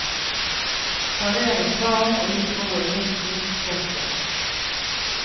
Serveres varm og litt rå i midten. punktum